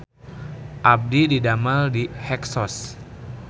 Abdi didamel di Hexos